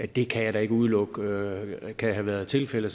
det kan jeg da ikke udelukke kan have været tilfældet